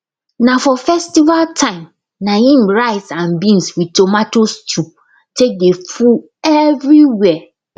na for festival time na im rice and beans with tomato stew take dey full everywhere